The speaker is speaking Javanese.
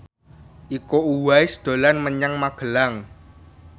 Iko Uwais dolan menyang Magelang